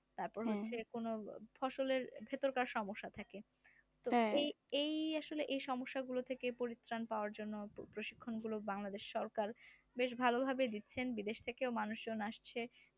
তারপরে হচ্ছে কোন ফসলের ভেতরকার সমস্যা থাকে এই এই আসলে সমস্যাগুলো থেকে পরিত্রাণ পাওয়ার জন্য প্রশিক্ষণ গুলো বাংলাদেশ সরকার বেশ ভালোভাবে দিচ্ছেন বিদেশ থেকেও মানুষজন আসছেন